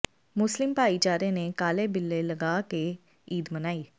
ਮੁਸਲਿਮ ਭਾਈਚਾਰੇ ਨੇ ਕਾਲੇ ਬਿੱਲੇ ਲਗਾ ਕੇ ਈਦ ਮਨਾਈ